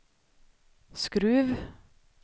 Skruv